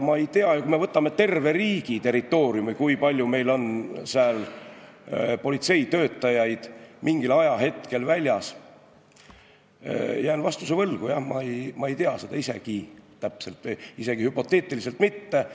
Kui me võtame terve riigi territooriumi, kui palju meil on politseitöötajaid mingil ajahetkel väljas, siis ma jään vastuse võlgu, jah, ma ei tea seda täpselt, isegi hüpoteetiliselt mitte.